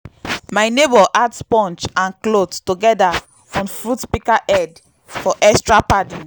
my neighbour add sponge and cloth togeda on fruit pika head for extra padding